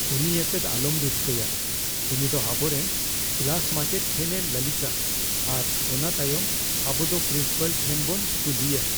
ᱩᱱᱤ ᱭᱟᱛᱮᱫ ᱟᱞᱚᱢ ᱨᱟᱹᱥᱠᱟᱹᱭᱟ ᱾ ᱩᱱᱤ ᱫᱚ ᱟᱵᱚᱨᱮᱱ ᱠᱞᱟᱥ ᱢᱟᱪᱮᱫ ᱴᱷᱮᱱᱼᱮ ᱞᱟᱹᱞᱤᱥᱼᱟ ᱟᱨ ᱚᱱᱟ ᱛᱟᱭᱚᱢ ᱟᱵᱚ ᱫᱚ ᱯᱨᱤᱱᱥᱤᱯᱟᱞ ᱴᱷᱮᱱ ᱵᱚᱱ ᱠᱩᱞᱤᱭᱟ ᱾